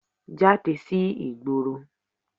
Jáde sí ìgboro